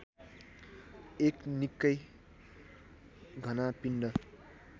एक निक्कै घना पिण्ड